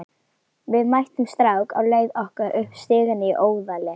Við mættum strák á leið okkar upp stigann í Óðali.